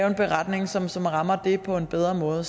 en beretning som som rammer det på en bedre måde